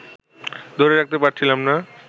ধরে রাখতে পারছিলাম না